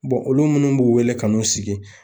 olu munnu b'u wele ka n'u sigi